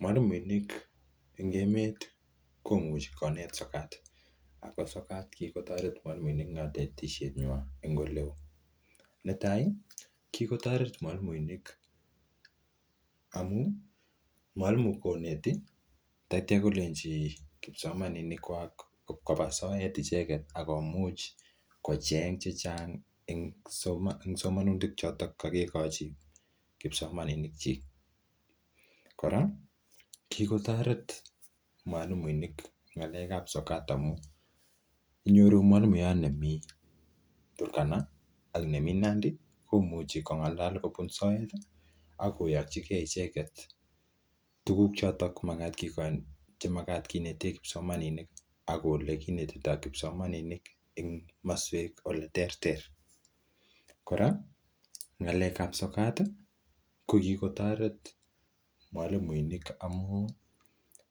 Mwalimuinik en emet komuchi konet sokat ago sokat kigotoret mwalimuinik en konetishenywan. Netai: kigotoret mwalimuinik amun mwalimu koneti ak kityo kolenchi kipsomaninik koba soet kocheng che chang en somonutik choto kogikochi kipsomaninikyik. Kora kigotoret mwalimuinik ng'alekab sokat amun inyoru mwalimuyat nemi Turkana ak nemi Nandi komuchi kong'alal komisoet ak koyokige icheget tuguk choto chemagat kinete kipsomaninik ak ole kinetito kipsomaninik en komaswek ole terter. Kora ng'alekab soet kogikotoret mwalimmuinik amun